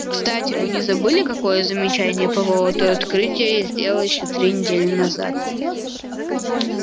кстати вы не забыли какое замечание по поводу открытия я сделал ещё три недели назад